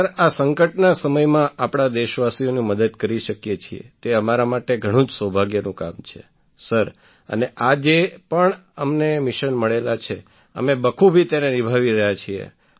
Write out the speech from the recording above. sir આ સંકટના સમયમાં આપણા દેશવાસીઓની મદદ કરી શકીએ છીએ તે અમારા માટે ઘણું જ સૌભાગ્યનું કામ છે સર અને આ જે પણ અમને મિશન મળેલા છે અમે બખૂબી તેને નિભાવી રહ્યા છીએ